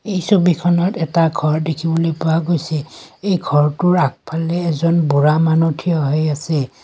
এই ছবিখনত এটা ঘৰ দেখিবলৈ পোৱা গৈছে এই ঘৰটোৰ আগফালে এজন বুঢ়া মানুহ থিয় হৈ আছে।